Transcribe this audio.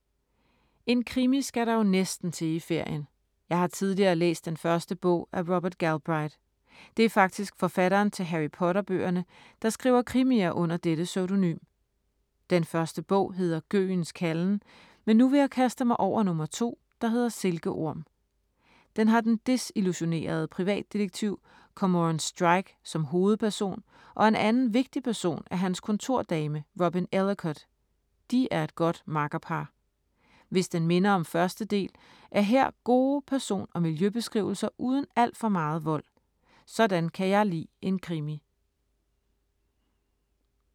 En krimi skal der jo næsten til i ferien. Jeg har tidligere læst den første bog af Robert Galbraith. Det er faktisk forfatteren til Harry Potter-bøgerne, der skriver krimier under dette pseudonym. Den første bog hedder Gøgens kalden, men nu vil jeg kaste mig over nummer to, der hedder Silkeorm. Den har den desillusionerede privatdetektiv Cormoran Strike som hovedperson og en anden vigtig person er hans kontordame Robin Ellacott. De er et godt makkerpar. Hvis den minder om første del, er her gode person- og miljøbeskrivelser uden al for meget vold. Sådan kan jeg lide en krimi.